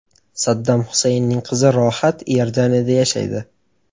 Saddam Husaynning qizi Rohat Iordaniyada yashaydi.